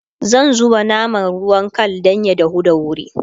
zan zubawa naman ruwan Kal Dan ya dahu da wuri